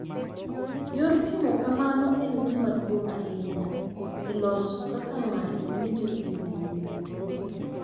Yor timo kamano en gima duong’ ahinya e loso kaka ng’ato winjo e wiye owuon,